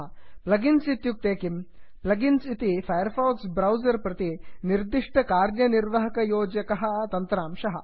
plugins इत्युक्ते किम् plugins इति फैर् फाक्स् ब्रौसर् प्रति निर्दिष्टकार्यनिर्वहणयोजकः तन्त्रांशः